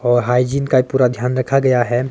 और हाइजीन का पूरा ध्यान रखा गया है।